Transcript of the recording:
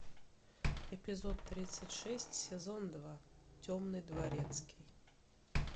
эпизод тридцать шесть сезон два темный дворецкий